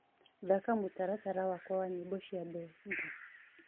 thaka mũtaratara wakwa wa nyĩmbo cia benga